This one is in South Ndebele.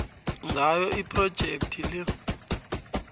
ngawo iphrojekhthi le